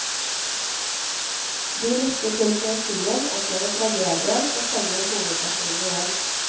De lytter til poesien, opplever tragedien og kjenner hovedpersonen igjen.